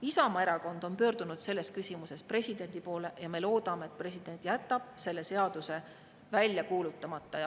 Isamaa Erakond on pöördunud selles küsimuses presidendi poole ja me loodame, et president jätab selle seaduse välja kuulutamata.